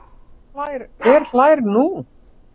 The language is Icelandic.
Hver hlær nú?